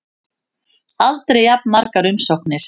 Aldrei jafn margar umsóknir